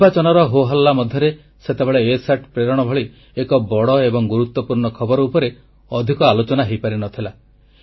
ନିର୍ବାଚନର ହୋହାଲ୍ଲା ମଧ୍ୟରେ ସେତେବେଳେ ଇସାଟ ପ୍ରେରଣ ଭଳି ଏକ ବଡ଼ ଏବଂ ଗୁରୁତ୍ୱପୂର୍ଣ୍ଣ ଖବର ଉପରେ ଅଧିକ ଆଲୋଚନା ହୋଇପାରିନଥିଲା